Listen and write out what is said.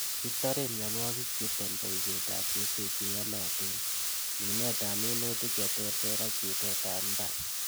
Kitoren mionwokikchuton boisietab keswek cheyonotin, minetab minutik cheterter ak bitetab mbar.